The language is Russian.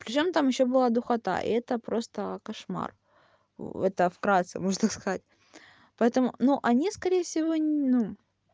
приезжаем там ещё была духота и это просто кошмар это вкратце можно так сказать поэтому ну они скорее всего ну